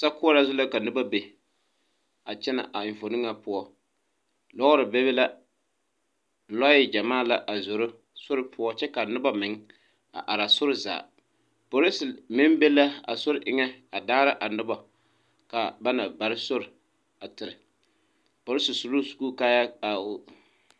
Sokoɔraa zu la ka noba be a kyɛnɛ a enfuone ŋa poɔ lɔɔre bebe la lɔɛ gyamaa la a zoro sori poɔ kyɛ ka noba meŋ a are aa sori zaa polise meŋ be la a sori eŋɛ a daara a nobo kaa a ba na bare sori a tere polise su loo sukuu kaayɛɛ a o.